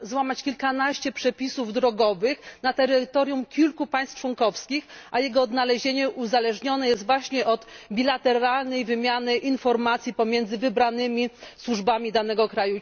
złamać kilkanaście przepisów drogowych na terytorium kilku państw członkowskich, a jego odnalezienie uzależnione jest właśnie od bilateralnej wymiany informacji pomiędzy wybranymi służbami danego kraju.